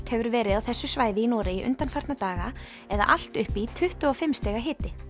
hefur verið á þessu svæði í Noregi undanfarna daga eða allt upp í tuttugu og fimm stig